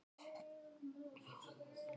Aldrei efi.